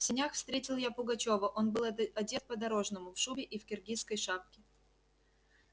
в сенях встретил я пугачёва он был одет по-дорожному в шубе и в киргизской шапке